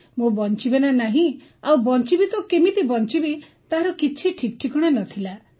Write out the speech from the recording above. ମୁଁ ବଞ୍ଚିବି ନା ନାହିଁ ଆଉ ବଞ୍ଚିବି ତ କେମିତି ବଞ୍ଚିବି ତାର ଠିକ୍ଠିକଣା ନଥିଲା